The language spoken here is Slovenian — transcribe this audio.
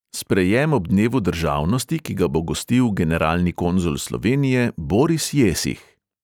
Sprejem ob dnevu državnosti, ki ga bo gostil generalni konzul slovenije boris jesih.